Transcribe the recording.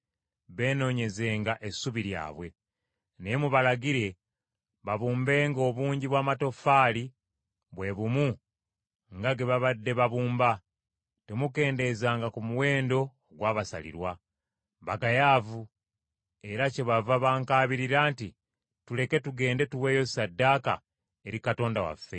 Naye mubalagire babumbenga obungi bw’amatoffaali bwe bumu nga ge babadde babumba; temukendeezanga ku muwendo ogwabasalirwa. Bagayaavu; era kyebava bankaabirira nti, ‘Tuleke tugende tuweeyo ssaddaaka eri Katonda waffe.’